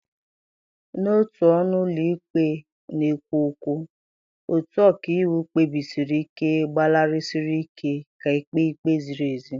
N'otu ọnụ ụlọ ikpe na-ekwo ekwo, otu ọkàiwu kpebisiri ike gbalịsiri ike ka e kpee ikpe ziri ezi.